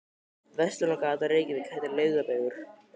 Verslunargatan í Reykjavík heitir líka Laugavegur.